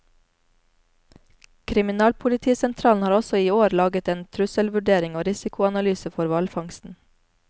Kriminalpolitisentralen har også i år laget en trusselvurdering og risikoanalyse for hvalfangsten.